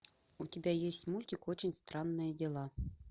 у тебя есть мультик очень странные дела